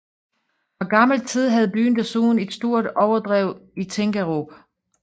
Fra gammel tid havde byen desuden et stort overdrev i Tinkerup